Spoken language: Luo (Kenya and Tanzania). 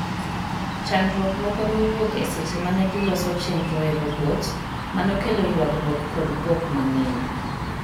Chandruok moko nowuok eseche mane giloso chenro e robot manokelo yuagruok kod buok mang'eny.